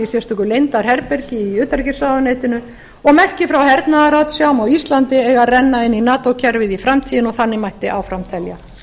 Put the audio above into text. sérstöku leyndarherbergi í utanríkisráðuneytinu og merki frá hernaðarratsjám á íslandi eiga að renna inn í nato kerfið í framtíðinni og þannig mætti áfram telja